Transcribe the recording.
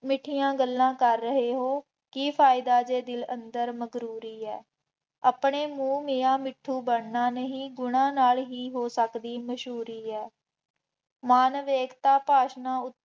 ਮਿੱਠੀਆ ਗੱਲਾਂ ਕਰ ਰਹੇ ਹੋ, ਕਰ ਫਾਇਦਾ ਜੇ ਦਿਲ ਅੰਦਰ ਮਕਰੂਰੀ ਹੈ, ਆਪਣੇ ਮੂੰਹ ਮੀਆਂ ਮਿੱਠੂ ਬਣਨਾ ਨਹੀਂ, ਗੁਣਾ ਨਾਲ ਹੀ ਹੋ ਸਕਦੀ ਮਸ਼ਹੂਰੀ ਹੈ, ਮਾਨਵ ਏਕਤਾ ਭਾਸ਼ਣਾਂ ਉਥੇ